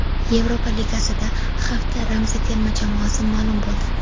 Yevropa Ligasida hafta ramziy terma jamoasi ma’lum bo‘ldi.